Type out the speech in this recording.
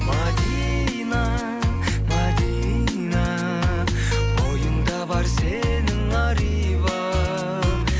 мәдина мәдина бойыңда бар сенің ар иба